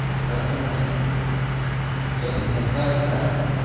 ஆஹான் sir mechanic ஆ